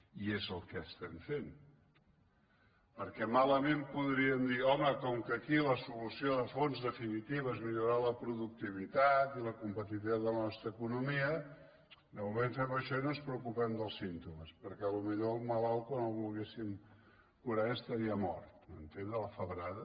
i és el que estem fent perquè malament podríem dir home com que aquí la solució de fons definitiva és millorar la productivitat i la competitivitat de la nostra economia de moment fem això i no ens preocupem dels símptomes perquè potser el malalt quan el volgués·sim curar ja estaria mort m’entén de la febrada